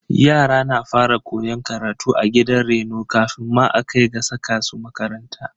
Yara na fara koyon karatu a gidan reno kafin ma a kai ga saka su a makaranta.